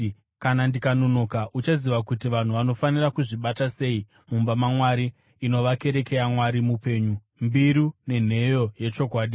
kana ndikanonoka, uchaziva kuti vanhu vanofanira kuzvibata sei mumba maMwari, inova kereke yaMwari mupenyu, mbiru nenheyo yechokwadi.